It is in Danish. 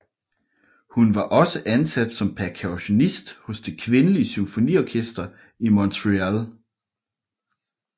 Hun var også ansat som percussionist hos Det Kvindelige Symfoniorkester i Montreal